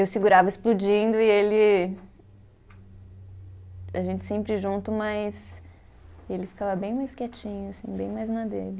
Eu segurava explodindo e ele. A gente sempre junto, mas ele ficava bem mais quietinho, assim, bem mais na dele.